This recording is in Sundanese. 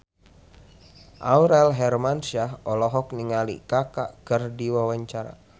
Aurel Hermansyah olohok ningali Kaka keur diwawancara